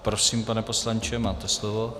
Prosím, pane poslanče, máte slovo.